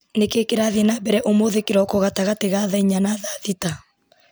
nĩ kĩĩ kĩrathiĩ na mbere ũmũthĩ kĩroko gatagatĩ ga thaa inya na thaa thita